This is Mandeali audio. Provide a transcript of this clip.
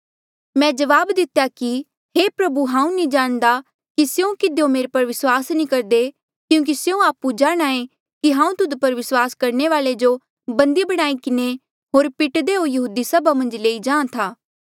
मै जबाब दितेया की हे प्रभु हांऊँ नी जाणदा कि स्यों किधियो मेरे पर विस्वास नी करदे क्यूंकि स्यों आपु जाणहां ऐें कि हांऊँ तुध पर विस्वास करणे वाले जो बंदी बणाई किन्हें होर पिटदे हुए यहूदी सभा मन्झ लेई जा था